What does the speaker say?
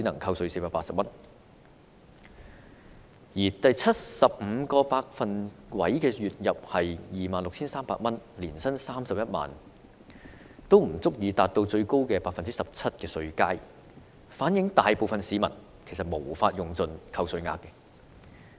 港人月入的第七十五個百分位數是 26,300 元，即年薪31萬元，但也不足以達到最高的 17% 稅階，反映大部分市民無法用盡扣稅額。